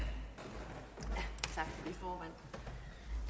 få